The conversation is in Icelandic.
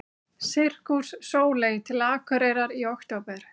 Sirkus Sóley til Akureyrar í október